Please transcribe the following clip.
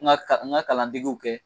N ka n ka kalandegew kɛ